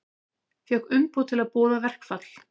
Fékk umboð til að boða verkfall